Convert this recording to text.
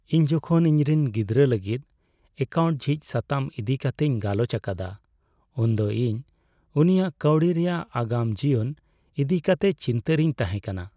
ᱤᱧ ᱡᱚᱠᱷᱚᱱ ᱤᱧᱨᱮᱱ ᱜᱤᱫᱽᱨᱟᱹ ᱞᱟᱹᱜᱤᱫ ᱮᱠᱟᱣᱩᱱᱴ ᱡᱷᱤᱡ ᱥᱟᱛᱟᱢ ᱤᱫᱤ ᱠᱟᱛᱤᱧ ᱜᱟᱞᱚᱪ ᱟᱠᱟᱫᱟ, ᱩᱱᱫᱚ ᱤᱧ ᱩᱱᱤᱭᱟᱜ ᱠᱟᱹᱣᱰᱤ ᱨᱮᱭᱟᱜ ᱟᱜᱟᱢ ᱡᱤᱭᱚᱱ ᱤᱫᱤ ᱠᱟᱛᱮ ᱪᱤᱱᱛᱟᱹᱨᱤᱧ ᱛᱟᱦᱮᱸ ᱠᱟᱱᱟ ᱾